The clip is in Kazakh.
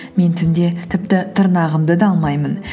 мен түнде тіпті тырнағымды да алмаймын